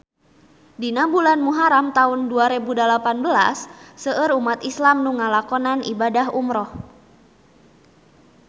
Dina bulan Muharam taun dua rebu dalapan belas seueur umat islam nu ngalakonan ibadah umrah